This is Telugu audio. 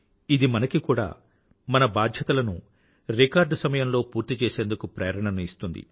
ఇది మనకి కూడా మన బాధ్యతలను రికార్డు సమయంలో పూర్తి చేసేందుకు ప్రేరణను ఇస్తుంది